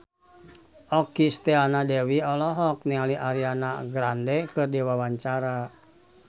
Okky Setiana Dewi olohok ningali Ariana Grande keur diwawancara